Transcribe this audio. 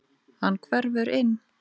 Hann hverfur inn.